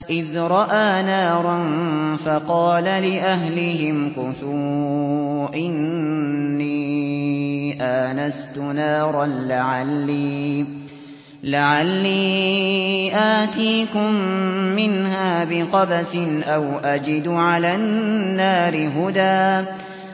إِذْ رَأَىٰ نَارًا فَقَالَ لِأَهْلِهِ امْكُثُوا إِنِّي آنَسْتُ نَارًا لَّعَلِّي آتِيكُم مِّنْهَا بِقَبَسٍ أَوْ أَجِدُ عَلَى النَّارِ هُدًى